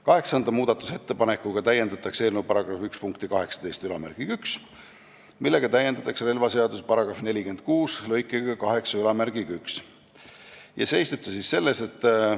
Kaheksanda muudatusettepanekuga täiendatakse eelnõu § 1 punkti 181, millega täiendatakse relvaseaduse § 46 lõikega 81.